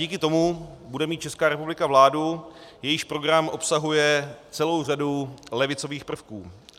Díky tomu bude mít Česká republika vládu, jejíž program obsahuje celou řadu levicových prvků.